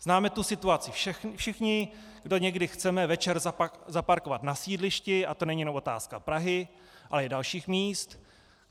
Známe tu situaci všichni, kdo někdy chceme večer zaparkovat na sídlišti, a to není jenom otázka Prahy, ale i dalších míst.